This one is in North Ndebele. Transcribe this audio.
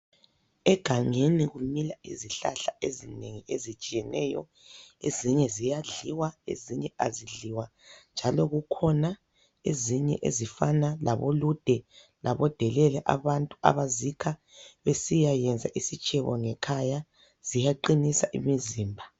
Egangeni kumila izihlahla ezinengi ezitshiyeneyo, ezinye ziyadliwa, ezinye azidliwa. Njalo kukhona ezinye ezifana labolude labodelele abantu abazikha besiyayenza isitshebo ngekhaya, ziyaqinisa imizimba.